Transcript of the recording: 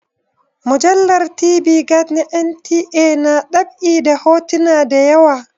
Mujallar TV Guide na NTA na ɗab'i da hotuna da yawa.